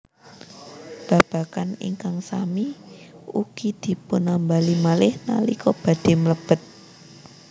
Babagan ingkang sami ugi dipunambali malih nalika badhé mlebet